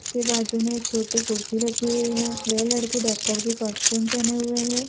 उसके बाजू में एक छोटी कुर्सी रखी हुई है वह लड़के डॉक्टर की कॉस्ट्यूम पहने हुए हैं।